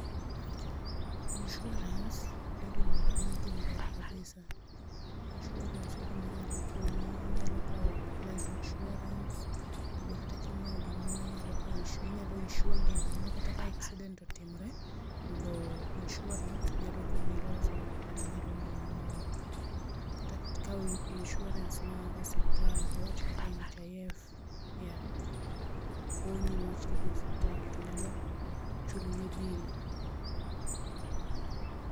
Insurance e gima ber en gima ber kabisa, insurance e gima nyalo konyi, inyalo kao life insurance tobe kata kingiew gimoro inyalo kao insua inyalo insure gino mondo kata ka accident otimore mondo insurance nyalo konyi loso kata nyalo nyiewni moro. kata ka ikaw insurance mar osiptal awach kaka NHIF yeah, konyi niwach kidhi e osiptal to nyalo chulo ni bill